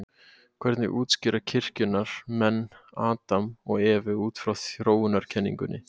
hvernig útskýra kirkjunnar menn adam og evu út frá þróunarkenningunni